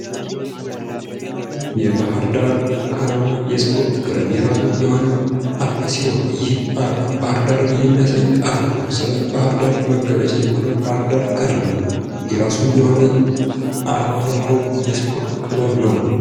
የባህር ዳር ከነማ የስፖርት ክለብ የራሱ የሆነ አርማ ሲኖረው ይህም አርማ ባህርዳርን የሚያሳይ አርማ ነው ። ስለ ባህርዳር መገለጫ የሆነው ባህር ዳር ከነማ የራሱ የሆነ አርማ ያለው የስፖርት ክለብ ነው ።